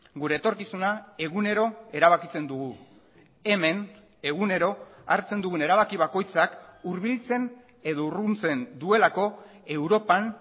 gure etorkizuna egunero erabakitzen dugu hemen egunero hartzen dugun erabaki bakoitzak hurbiltzen edo urruntzen duelako europan